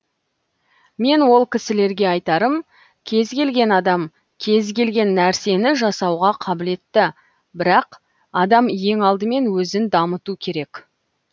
мен ол кісілерге айтарым кез келген адам кез келген нәрсені жасауға қабілетті бірақ адам ең алдымен өзін дамыту керек